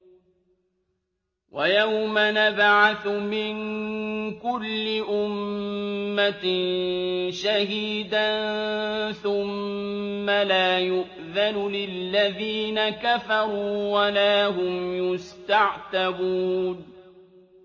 وَيَوْمَ نَبْعَثُ مِن كُلِّ أُمَّةٍ شَهِيدًا ثُمَّ لَا يُؤْذَنُ لِلَّذِينَ كَفَرُوا وَلَا هُمْ يُسْتَعْتَبُونَ